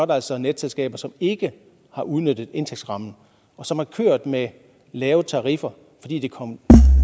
der altså netselskaber som ikke har udnyttet indtægtsrammen og som har kørt med lave tariffer fordi det kom